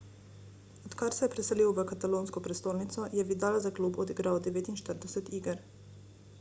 odkar se je preselil v katalonsko prestolnico je vidal za klub odigral 49 iger